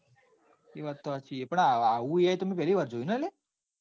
એ વસ્તુ સાચી હ પણ આવું AI તો મે પેલી વાર જોયું ન લ્યા.